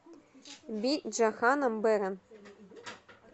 би джаханам бэран